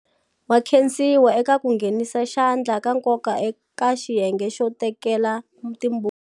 Wa khensiwa eka ku nghenisa xandla ka nkoka eka xiyenge xo teketla timbuti.